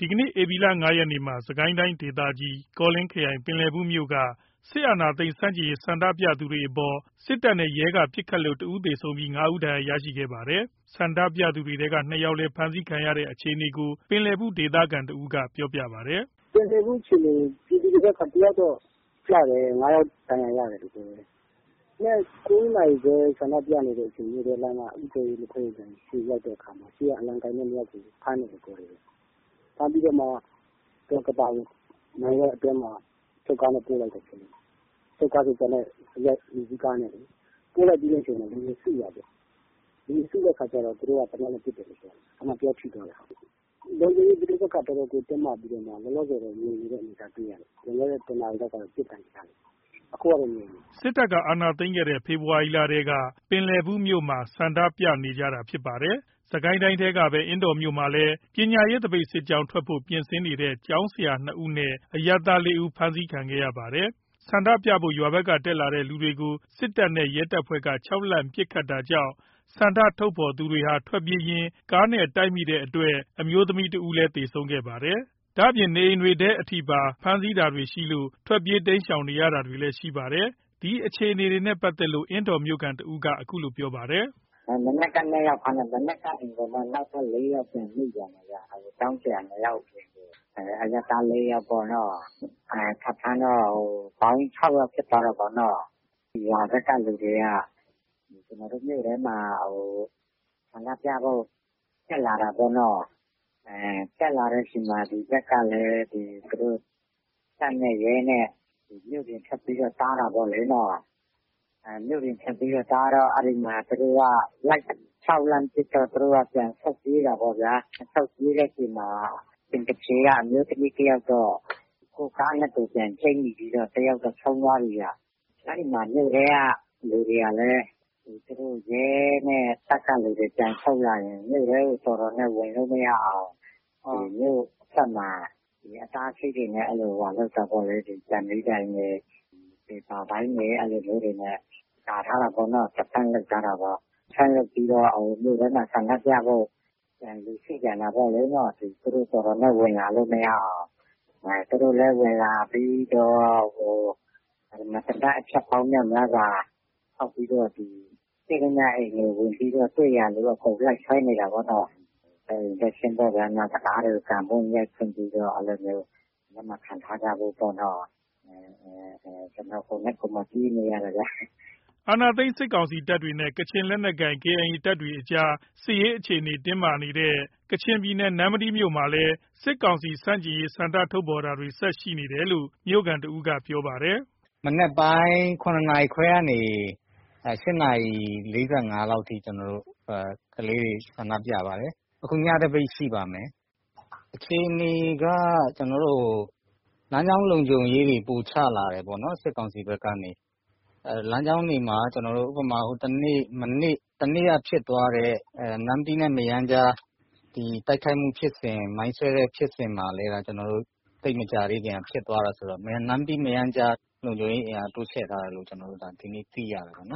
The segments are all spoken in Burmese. ဒီကနေ့ ဧပြီ ၅ ရက်နေ့မှာ စစ်ကိုင်းတိုင်းဒေသကြီး ကောလင်းခရိုင် ပင်လယ်ဘူး မြို့က စစ်အာဏာသိမ်းမှု ဆန့်ကျင်ရေး ဆန္ဒပြသူတွေအပေါ် စစ်တပ်နဲ့ ရဲက ပစ်ခတ်လို့ ၁ ဦးသေဆုံးပြီး ၅ ဦး ဒဏ်ရာရခဲ့ပါတယ်။ ဆန္ဒပြသူတွေထဲက ၂ ယောက်လည်း ဖမ်းဆီးခံခဲ့ရတဲ့ အခြေအနေကို ပင်လယ်ဘူး ဒေသခံတဦးက ပြောပြပါတယ်။ “ပင်လယ်ဘူး အခြေအနေ ပြည်သူတွေဘက်က တယောက်တော့ကျတယ်။ ၅ ယောက် ဒဏ်ရာရတယ်ပြောတယ်။ မနက် ၉ နာရီခွဲလောက်က ဆန္ဒပြနေတဲ့အချိန် မြို့ထဲက လက်ဖက်ရည်ဆိုင်ရှေ့ရောက်တဲ့အခါမှာ ရှေ့က အလံကိုင်တဲ့ ၂ ယောက်ကို ဖမ်းတယ်။ ဖမ်းပြီးတော့မှ ကသာကို အချုပ်ကားနဲ့ ပို့လိုက်တယ် အိမ်စီးကားနဲ့လေ။ ပို့လိုက်ပြီးတဲ့အချိန်မှာ လူတွေစုတာပေါ့။ လူတွေစုတဲ့အခါကျတော့ သူတို့က သေနတ်နဲ့ ပစ်တယ်ပြောတယ်။ အဲ့မှာ တယောက်ထိသွားတယ်။ ပဋိပက္ခတော်တော်ကို တင်းမာပြီးတော့မှ လောလောဆယ် ငြိမ်နေတဲ့ အနေအထား တွေ့ရတယ်။ လွန်ခဲ့တဲ့ ၁ နာရီလောက်က ပစ်သံကြားတယ်။ အခုက ငြိမ်နေတယ်။” စစ်တပ်က အာဏာသိမ်းခဲ့တဲ့ ဖေဖော်ဝါရီလထဲက ပင်လယ်ဘူးမြို့မှာ ဆန္ဒပြနေကြတာဖြစ်ပါတယ်။ စစ်ကိုင်းတိုင်းထဲကပဲ အင်းတော်မြို့မှာလည်း ပညာရေးသပိတ်စစ်ကြောင်း ထွက်ဖို့ ပြင်ဆင်နေတဲ့ ကျောင်းဆရာ ၂ ဦးနဲ့ အရပ်သား ၄ ဦး ဖမ်းဆီးခံခဲ့ရပါတယ်။ ဆန္ဒပြဖို့ ရွာဘက်က တက်လာတဲ့ လူတွေကို စစ်တပ်နဲ့ ရဲတပ်ဖွဲ့က ခြောက်လှန့်ပစ်ခတ်တာကြောင့် ဆန္ဒထုတ်ဖော်သူတွေဟာ ထွက်ပြေးရင်း ကားနဲ့တိုက်မိတဲ့အတွက် အမျိုးသမီးတဦးလည်း သေဆုံးခဲ့ပါတယ်။ ဒါ့အပြင် နေအိမ်တွေထဲပါ ဖမ်းဆီးတာတွေရှိလို့ ထွက်ပြေးတိမ်းရှောင်နေရတာတွေရှိပါတယ်။ ဒီအခြေအနေနဲ့ ပတ်သက်လို့ အင်းတော်မြို့ခံတဦးက အခုလိုပြောပါတယ်။ “မနက်က ၂ ယောက်ဖမ်းတယ်။ နောက်ပြီး နောက်ထပ် ၄ ယောက်ထပ်မိသွားတယ်။ ကျောင်းဆရာ ၂ ယောက် အရပ်သား ၄ ယောက်ပေါ့နော်။ ထပ်ဖမ်းတော့ ပေါင်း ၆ ယောက်ဖြစ်သွားတာပေါ့နော်။ ပေါင်း ၆ ယောက် ဖြစ်သွားတဲ့အချိန်မှာ ရွာဘက်က လူတွေက ကျွန်တော်တို့ မြို့ထဲမှာ ဆန္ဒပြဖို့ တက်လာတာပေါ့နော်။ တက်လာတဲ့ အချိန်မှာ တပ်နဲ့ရဲနဲ့က မြို့ပြင်ထွက်ပြီး တားတာပေါ့လေ။ တားပြီး လိုက်ခြောက်လှန်ပစ်တော့ သူတို့ကပြန်ပြီး ထွက်ပြေးတာပေါ့ဗျာ။ ထွက်ပြေးတဲ့အချိန်မှာ အမျိုးသမီးတယောက်တော့ ကိုယ့်ကားနဲ့ ကိုယ်ချိတ်မိပြီး တယောက်တော့ ဆုံးသွားပြီ။ အဲ့ဒီမှာ မြို့ထဲက လူတွေကလည်း တပ်နဲ့ရဲက လူတွေ မြို့ထဲကို ပြန်ဆုတ်ရင် မြို့ထဲကို တော်တော်နဲ့ ဝင်လို့မရအောင် မြို့အထွက်မှာ အတားအဆီးတွေနဲ့ ပေပါပိုင်းတွေနဲ့ ကာထားတာပေါ့နော်။ အဲ့ဒါပြီးတော့ မြို့ထဲမှာ ဆန္ဒပြဖို့ လူစုပြန်တာပေါ့။ သူတို့လည်း တော်တော်နဲ့ ဝင်လာလို့ မရအောင် သူတို့လည်း ဝင်လာပြီးတော့ သေနတ် အချက်ပေါင်းများစွာ ဖောက်ပြီးတော့ တွေ့သမျှအိမ်တွေ အကုန်ဝင်ပြီးတော့ တွေ့သမျှလူ အကုန်လိုက်ဆွဲနေတာပေါ့နော်။ တံခါးတွေကို ကန်ဖွင့် ရိုက်ဖွင့်ပြီးတော့ လက်မခံထားကြဖို့ပေါ့ပြောတယ်။ ကျနော် ကိုယ်တိုင် ပြေးနေရတယ်။” အာဏာသိမ်းထားတဲ့ စစ်ကောင်စီ တပ်တွေနဲ့ ကချင်လက်နက်ကိုင် KIA တပ်တွေကြား စစ်ရေး အခြေအနေ တင်းမာနေတဲ့ ကချင်ပြည်နယ် နမ္မတီးမြို့မှာလည်း စစ်ကောင်စီ ဆန့်ကျင်ရေး ဆန္ဒထုတ်ဖော်တာတွေ ဆက်ရှိနေတယ်လို့ မြို့ခံ တဦးက ပြောပါတယ်။ “မနက်ပိုင်း ၇ နာရီခွဲကနေ ၈ နာရီ ၄၅ မိနစ်အထိ ကျနော်တို့ ကလေးတွေ ဆန္ဒပြပါတယ်။ အခု ညသပိတ် ရှိပါတယ်။ အခြေအနေက လမ်းကြောင်း လုံခြုံရေးတွေ ပိုချလာတယ်ပေါ့နော် စစ်ကောင်စီဘက်ကနေ။ လမ်းကြောင်းတွေမှာ တနေ့က ဖြစ်သွားတဲ့ နမ္မတီးနဲ့ မရမ်းကြား တိုက်ခိုက်မှုဖြစ်စဉ် မိုင်းဆွဲမှု ဖြစ်စဉ်မှာလည်း သိပ်မကြာသေးခင်က ဖြစ်သွားတာဆိုတော့ နမ္မတီး မရမ်းကြား လုံခြုံရေး အင်အား တိုးချဲ့ထားတယ်လို့ ဒီနေ့ သိရတယ်။” ဝန်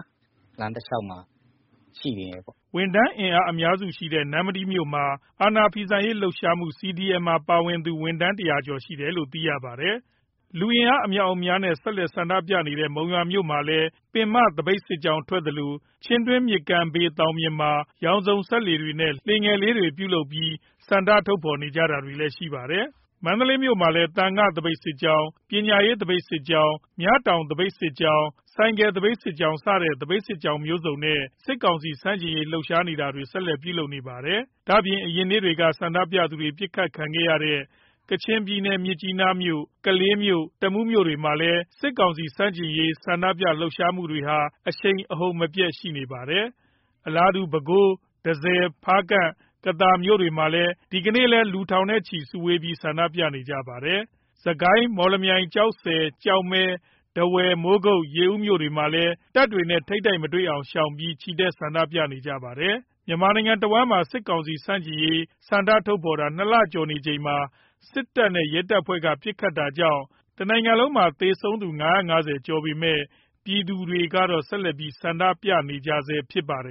ထမ်းအင်အား အများစု ရှိတဲ့ နမ္မတီးမြို့မှာ အာဏာဖီဆန့်ရေး လှုပ်ရှားမှု CDM မှာ ပါဝင်သူ ဝန်ထမ်း ၁၀၀ ကျော်ရှိတယ်လို့လည်း သိရပါတယ်။ လူအင်အား အမြောက်အများနဲ့ ဆက်တိုက် ဆန္ဒပြနေတဲ့ မုံရွာက မြို့မှာလည်း ပင်မသပိတ် စစ်ကြောင်း ထွက်သလို၊ ချင်းတွင်း မြစ်ကမ်းဘေး သောင်ပြင်မှာ ရောင်စုံစက္ကူတွေနဲ့ လှေလေးတွေ ပြုလုပ်ပြီးဆန္ဒ ထုတ်ဖော်ခဲ့ကြပါတယ်။ မန္တလေးမြို့မှာလည်း သံဃာ သပိတ်စစ်ကြောင်း၊ ပညာရေး သပိတ်စစ်ကြောင်း၊ မြတောင် သပိတ်စစ်ကြောင်း၊ ဆိုင်ကယ် သပိတ်စစ်ကြောင်းစတဲ့ သပိတ်စစ်ကြောင်းမျိုးစုံနဲ့ စစ်ကောင်စီ ဆန့်ကျင်ရေး လှုပ်ရှားတာတွေ ဆက်လက် ပြုလုပ်နေပါတယ်။ ဒါ့အပြင် အရင်နေ့တွေက ဆန္ဒပြသူတွေ ပစ်ခတ် ခံရတဲ့ ကချင်ပြည်နယ် မြစ်ကြီးနားမြို့၊ ကလေးမြို့ တမူး မြို့တွေမှာလည်း စစ်ကောင်စီ ဆန့်ကျင်ရေး ဆန္ဒပြလှုပ်ရှားမှုတွေဟာ အရှိန်အဟုန်မပြတ် ရှိနေပါတယ်။ အလားတူ ပဲခူး၊ တန့်ဆည်၊ ဖားကန့်၊ ကသာ မြို့တွေမှာ ဒီကနေ့လည်း လူထောင်ချီ စုဝေးဆန္ဒပြကြပါတယ်။ စစ်ကိုင်း၊ မော်လမြိုင်၊ ကျောက်ဆည်၊ ကျောက်မဲ၊ ထားဝယ်၊ မိုးကုတ်၊ ရေဦးမြို့တွေမှာလည်း တပ်တွေနဲ့ ထိပ်တိုက်မတွေ့အောင် ရှောင်ပြီး ချီတက်ဆန္ဒပြကြပါတယ်။ မြန်မာနိုင်ငံတဝှမ်းမှာ စစ်ကောင်စီ ဆန့်ကျင်ရေး ဆန္ဒထုတ်ဖော်တာ ၂ လကျော်နေချိန်မှာ စစ်တပ်နဲ့ ရဲတပ်ဖွဲ့က ပစ်ခတ်တာကြောင့် တနိုင်ငံလုံးမှာ သေဆုံး ၅၅၀ ကျော်လာပေမယ့် ပြည်သူတွေက ဆက်ပြီး ဆန္ဒပြနေကြဆဲဖြစ်ပါတယ်